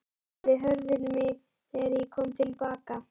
spurði Hörður mig þegar ég kom til baka.